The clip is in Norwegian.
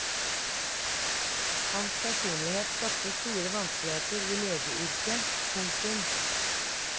Hans personlighet skapte store vanskeligheter i legeyrket. punktum